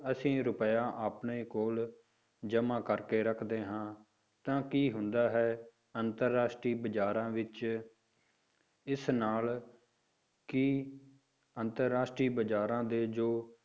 ਅਸੀਂ ਰੁਪਇਆ ਆਪਣੇ ਕੋਲ ਜਮਾ ਕਰਕੇ ਰੱਖਦੇ ਹਾਂ ਤਾਂ ਕੀ ਹੁੰਦਾ ਹੈ ਕਿ ਅੰਤਰ ਰਾਸ਼ਟਰੀ ਬਾਜ਼ਾਰਾਂ ਵਿੱਚ ਇਸ ਨਾਲ ਕੀ ਅੰਤਰ ਰਾਸ਼ਟਰੀ ਬਾਜ਼ਾਰਾਂ ਦੇ ਜੋ